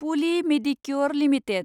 pulley Medicure limited